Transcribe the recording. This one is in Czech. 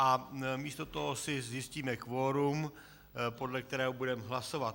A místo toho si zjistíme kvorum, podle kterého budeme hlasovat.